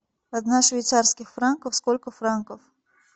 одна швейцарских франков сколько франков